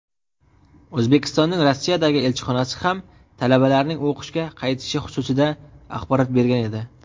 O‘zbekistonning Rossiyadagi elchixonasi ham talabalarning o‘qishga qaytishi xususida axborot bergan edi.